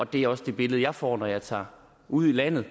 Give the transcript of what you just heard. det er også det billede jeg får når jeg tager ud i landet og